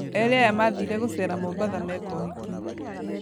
Erĩ aya mathire gũcera mombatha meka ũhiki.